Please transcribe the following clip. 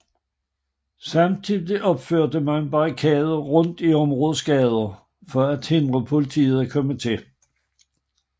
Samtidig opførte man barrikader rundt i områdets gader for at forhindre politiet i at komme til